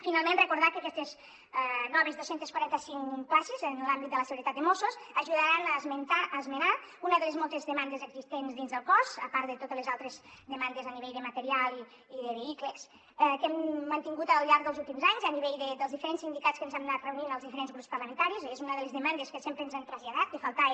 finalment recordar que aquestes noves dos cents i quaranta cinc places en l’àmbit de la seguretat de mossos ajudaran a esmenar una de les moltes demandes existents dins el cos a part de totes les altres demandes a nivell de material i de vehicles que hem mantingut al llarg dels últims anys a nivell dels diferents sindicats amb què ens hem anat reunint els diferents grups parlamentaris és una de les demandes que sempre ens han traslladat que faltava